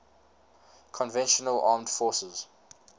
conventional armed forces